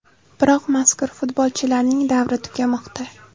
Biroq mazkur futbolchilarning davri tugamoqda.